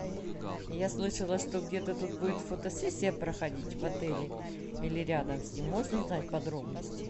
я слышала что где то тут будет фотосессия проходить в отеле или рядом с ним можно узнать подробности